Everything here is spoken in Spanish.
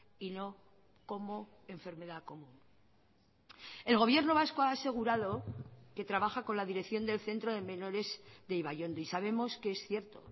y no como enfermedad común el gobierno vasco ha asegurado que trabaja con la dirección del centro de menores de ibaiondo y sabemos que es cierto